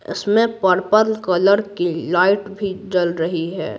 इसमें purple colour की light भी जल रही है।